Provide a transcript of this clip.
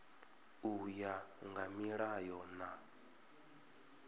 u ya nga milayo na